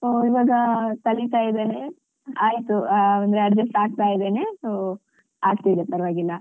So ಇವಾಗ ಕಲಿತಾ ಇದ್ದೇನೆ ಆಯ್ತು ಒಂದ್ adjust ಆಗ್ತಾ ಇದ್ದೇನೆ so ಆಗ್ತಿದೆ ಪರ್ವಾಗಿಲ್ಲ.